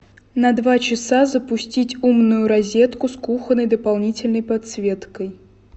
на два часа запустить умную розетку с кухонной дополнительной подсветкой